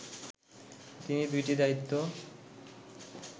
তিনি দুইটি দায়িত্ব